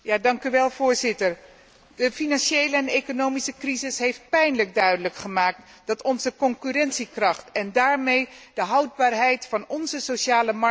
De financiële en economische crisis heeft pijnlijk duidelijk gemaakt dat onze concurrentiekracht en daarmee de houdbaarheid van onze sociale markteconomie gevaar loopt.